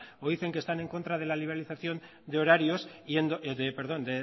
o dicen que están en contra de la liberalización de horarios perdón